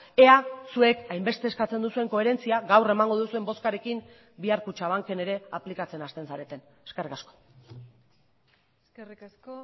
ea zuek hainbeste eskatzen duzuen koherentzia gaur emango duzuen bozkarekin bihar kutxabanken ere aplikatzen hasten zareten eskerrik asko eskerrik asko